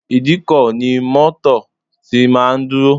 Ìdíkọ̀ ni mọ́tọ̀ tí máa ń dúró.